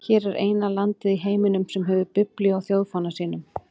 Hvert er eina landið í heiminum sem hefur biblíu á þjóðfána sínum?